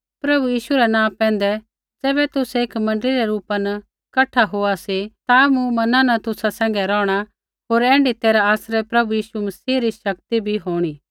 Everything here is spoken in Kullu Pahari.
प्रभु यीशु रै नाँ पैंधै ज़ैबै तुसै एक मण्डली रै रूपा न कठा होआ सी ता मूँ मना न तुसा सैंघै रौहणा होर ऐण्ढी तैरहा आसरै प्रभु यीशु मसीह री शक्ति भी होंणी